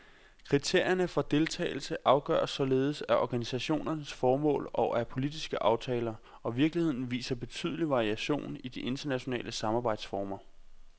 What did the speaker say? Kriterierne for deltagelse afgøres således af organisationens formål og af politiske aftaler, og virkeligheden viser betydelig variation i de internationale samarbejdsformer.